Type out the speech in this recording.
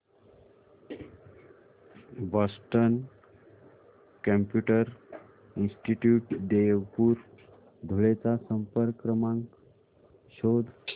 Boston computer institute Deopur Dhule चा संपर्क क्रमांक शोध